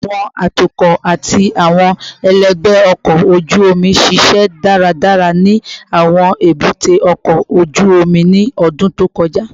Awọn atukọ ati awọn ẹlẹgbẹ ọkọ oju omi ṣiṣẹ daradara ni awọn ebute oko oju omi ni ọdun to kọja